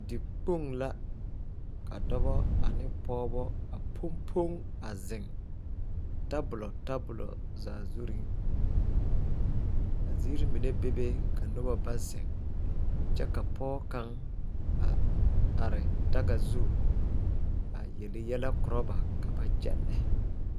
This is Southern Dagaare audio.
Dikpoŋ la ka dɔba ane pɔgeba a poŋ poŋ a zeŋ tabolo tabolo zaa zuriŋ a ziiri mine bebe ka noba ba zeŋ kyɛ ka pɔge kaŋa a are daga zu a yele yɛlɛ koro ba ka ba kyɛnle.